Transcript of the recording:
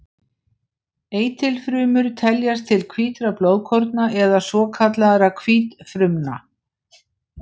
Eitilfrumur teljast til hvítra blóðkorna eða svokallaðra hvítfrumna.